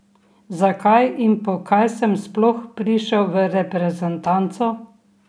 Zakaj in po kaj sem sploh prišel v reprezentanco?